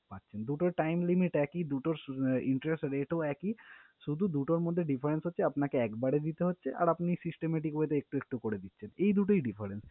পাচ্ছেন। দুটোর time limit একই, দুটোর interest rate ও একই শুধু দুটোর মধ্যে difference হচ্ছে আপনাকে একবারে দিতে হচ্ছে, আর আপনি systemic way তে একটু একটু করে দিচ্ছেন। এই দুটোই difference ।